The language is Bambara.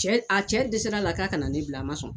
Cɛ a cɛ desɛra la k'a ka na ne bila a man sɔn.